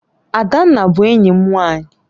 Adanna bu enyim nwanyi